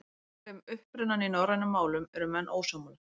Um upprunann í norrænum málum eru menn ósammála.